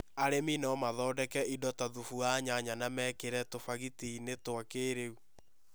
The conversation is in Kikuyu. Arĩmi no mathondeke indo ta thubu wa nyanya na mekĩre tubagiti-inĩ twa kĩrĩu.